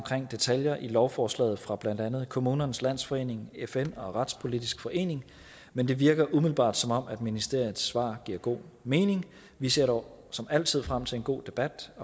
detaljer i lovforslaget fra blandt andet kommunernes landsforening fn og retspolitisk forening men det virker umiddelbart som om ministeriets svar giver god mening vi ser dog som altid frem til en god debat